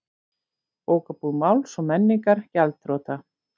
Bókabúð Máls og menningar gjaldþrota